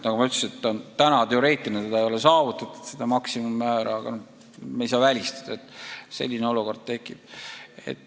Nagu ma ütlesin, täna ei ole seda teoreetilist maksimummäära saavutatud, aga me ei saa välistada, et selline olukord tekib.